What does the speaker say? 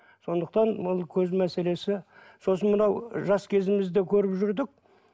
сондықтан ол көз мәселесі сосын мынау жас кезімізде көріп жүрдік